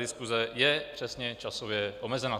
Diskuse je přesně časově omezena.